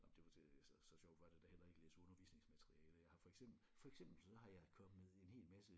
Nå men var det så så sjovt var det da heller ikke læse undervisningsmateriale jeg har for eksempel for eksempel så har jeg kommet en hel masse